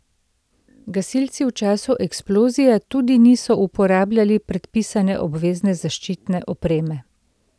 Gasilci v času eksplozije tudi niso uporabljali predpisane obvezne zaščitne opreme.